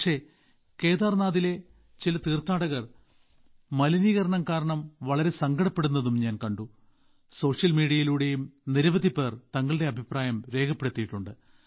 പക്ഷേ കേദാർനാഥിലെ ചില തീർത്ഥാടകർ മലിനീകരണം കാരണം വളരെ സങ്കടപ്പെടുന്നതും ഞാൻ കണ്ട സോഷ്യൽ മീഡിയയിലൂടെയും നിരവധിപേർ തങ്ങളുടെ അഭിപ്രായം രേഖപ്പെടുത്തിയിട്ടുണ്ട്